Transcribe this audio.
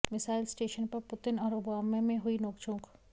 missile station पर Putin और Obama में हुई नोकझोंक